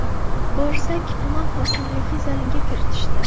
Borsak, tuman hokimligi zaliga kiritishdi.